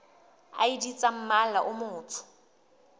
id tsa mmala o motsho